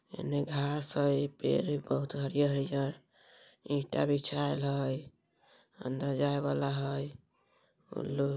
एने घास हेय पेड़ हेय बहुत हरियर-हरियर हेय ईटा बिछायल है अंदर जाए वाला हेय।